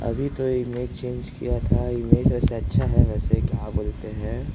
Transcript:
अभी तो image change की था। इमेज वेसे अच्छा था वेसे क्या बोलते है।